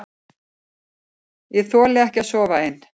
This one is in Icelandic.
Ég þoli ekki að sofa ein.